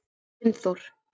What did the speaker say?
Steinþór